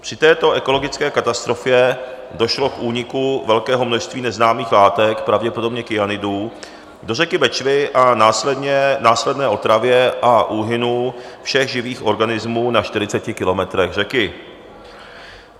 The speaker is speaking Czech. Při této ekologické katastrofě došlo k úniku velkého množství neznámých látek, pravděpodobně kyanidů, do řeky Bečvy a následné otravě a úhynu všech živých organismů na 40 kilometrech řeky.